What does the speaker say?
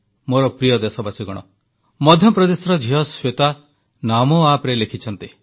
ମୋର ପ୍ରିୟ ଦେଶବାସୀଗଣ ମଧ୍ୟପ୍ରଦେଶର ଝିଅ ଶ୍ୱେତା ନମୋ ଆପରେ ଲେଖିଛନ୍ତି